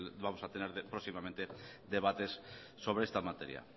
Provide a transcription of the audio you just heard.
vamos a tener próximamente debates sobre esta materia